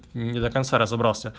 не до конца разобрался